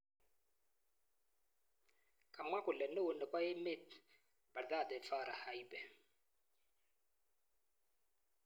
Kamwaa kole neo nepo Emeet Badhadhe Farah Heibe.